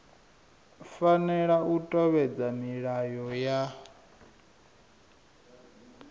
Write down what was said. fanela u tevhedzela milayo ya